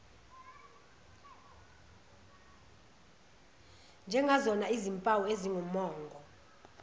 njengazona zimpawu ezingumongo